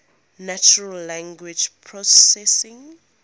natural language processing